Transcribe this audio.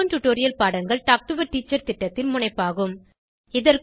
spoken tutorial பாடங்கள் talk to a teacher திட்டத்தின் முனைப்பாகும்